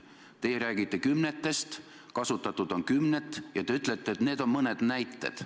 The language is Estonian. Teie räägite kümnetest miljonitest, et kasutatud on kümneid miljoneid, ja ütlete, et need on mõned näited.